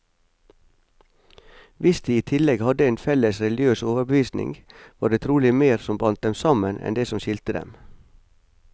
Hvis de i tillegg hadde en felles religiøs overbevisning, var det trolig mer som bandt dem sammen, enn det som skilte dem.